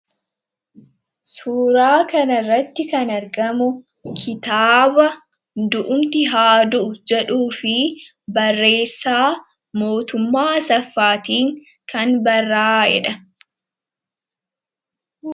Suuraa kanarratti kan argamu kitaaba 'du'umti haa du'u' jedhu barreessaa Mootummaa Asaffaatiin kan barrayeedha.